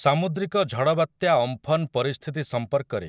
ସାମୁଦ୍ରିକ ଝଡ଼ବାତ୍ୟା ଅମ୍ଫନ ପରିସ୍ଥିତି ସମ୍ପର୍କରେ